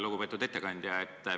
Lugupeetud ettekandja!